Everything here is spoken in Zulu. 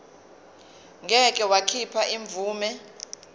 ngeke wakhipha imvume